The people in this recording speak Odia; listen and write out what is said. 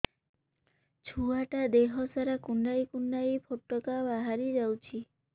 ଛୁଆ ଟା ଦେହ ସାରା କୁଣ୍ଡାଇ କୁଣ୍ଡାଇ ପୁଟୁକା ବାହାରି ଯାଉଛି